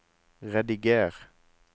rediger